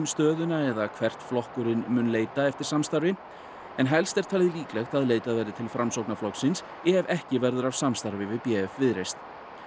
stöðuna eða hvert flokkurinn mun leita eftir samstarfi en helst er talið líklegt að leitað verði til Framsóknarflokksins ef ekki verður af samstarfi við b f Viðreisn